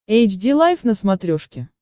эйч ди лайф на смотрешке